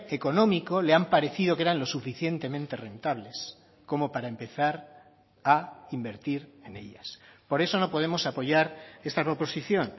económico le han parecido que eran lo suficientemente rentables como para empezar a invertir en ellas por eso no podemos apoyar esta proposición